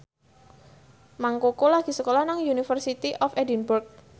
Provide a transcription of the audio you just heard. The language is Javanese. Mang Koko lagi sekolah nang University of Edinburgh